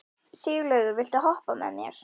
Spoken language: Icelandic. Sigurlaugur, viltu hoppa með mér?